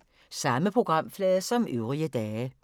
Samme programflade som øvrige dage